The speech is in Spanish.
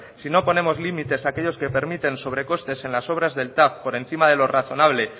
si no ponemos límites a aquellos que permiten sobrecostes en las obras del tav por encima de lo razonable